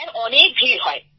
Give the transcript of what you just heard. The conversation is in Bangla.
স্যার অনেক ভিড় হয়